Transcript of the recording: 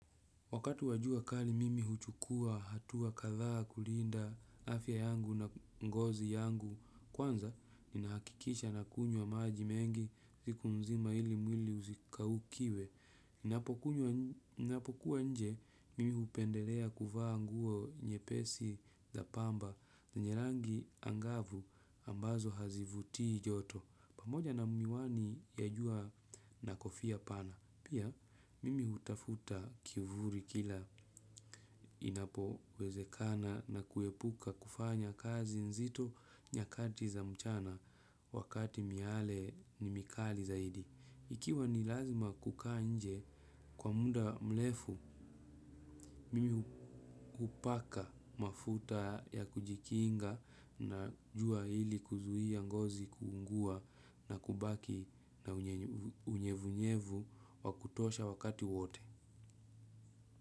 Wakati wa jua kali mimi huchukua, hatua kadhaa, kulinda, afya yangu na ngozi yangu. Kwanza, ninahakikisha nakunywa maji mengi, siku mzima ili mwili usikaukiwe. Ninapokuwa nje, mimi hupendelea kuvaa nguo nyepesi za pamba. Zenye rangi angavu ambazo hazivutii joto. Pamoja na miwani ya jua na kofia pana. Pia, mimi hutafuta kivuli kila inapowezekana na kuepuka kufanya kazi nzito nyakati za mchana wakati miale ni mikali zaidi. Ikiwa ni lazima kukaa nje kwa muda mrefu, mimi hupaka mafuta ya kujikinga na jua ili kuzuia ngozi kuungua na kubaki na unyevunyevu wa kutosha wakati wote.